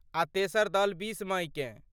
आ तेसर दल बीस मइकेँ।